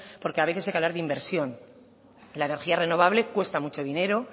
porque a veces hay que hablar de inversión la energía renovable cuesta mucho dinero